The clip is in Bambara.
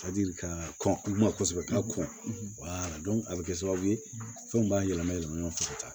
Ka di ka kɔn u ma kosɛbɛ ka kɔn a bɛ kɛ sababu ye fɛnw b'a yɛlɛma yɛlɛma ɲɔgɔn fɛ ka taa